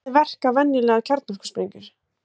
Hvernig verka venjulegar kjarnorkusprengjur?